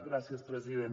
gràcies president